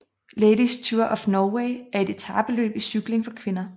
Ladies Tour of Norway er et etapeløb i cykling for kvinder